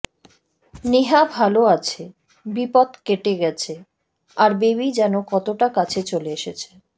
নেহা ভালো আছে বিপদ কেটে গেছে আর বেবী যেন কতটা কাছে চলে এসেছে